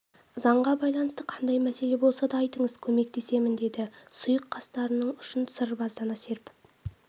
заңға байланысты қандай мәселе болса да айтыңыз көмектесемін деді сұйық қастарының ұшын сырбаздана серпіп